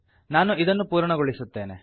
ನಾನು ಇದನ್ನು ಪೂರ್ಣಗೊಳಿಸುತ್ತೇನೆ